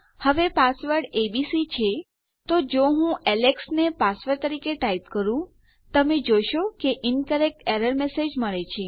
હવે password ABC છે તો જો હું એલેક્સ ને પાસવર્ડ તરીકે ટાઈપ કરું તમે જોશો કે ઇન્કરેક્ટ એરર મેસેજ મળે છે